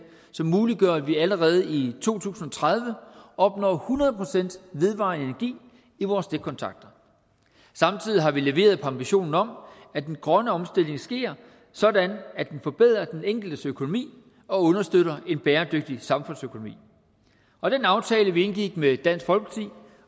som muliggør at vi allerede i to tusind og tredive opnår hundrede procent vedvarende energi i vores stikkontakter samtidig har vi leveret på ambitionen om at den grønne omstilling sker sådan at den forbedrer den enkeltes økonomi og understøtter en bæredygtig samfundsøkonomi og den aftale vi indgik med dansk folkeparti